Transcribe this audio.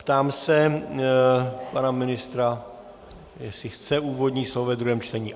Ptám se pana ministra, jestli chce úvodní slovo ve druhém čtení.